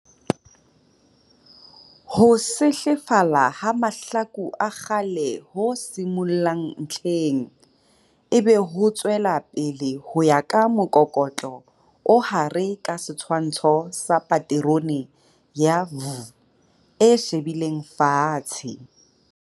Ho sehlefala ha mahlaku a kgale ho simollang ntlheng, ebe ho tswela pele ho ya ka mokokotlo o hare ka setshwantsho sa paterone ya "V" e shebileng fatshe.